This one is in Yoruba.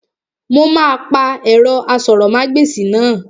Mo máa pa ẹ̀rọ asọ̀rọ̀mágbèsì náà